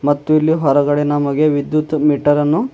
ಮತ್ತು ಇಲ್ಲಿ ಹೊರಗಡೆ ನಮಗೆ ವಿದ್ಯುತ್ ಮೀಟರ್ ಅನ್ನು--